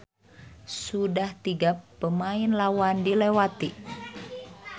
Sudah tiga pemain lawan dilewati.